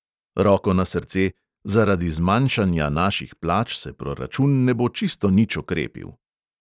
Roko na srce; zaradi zmanjšanja naših plač se proračun ne bo čisto nič okrepil.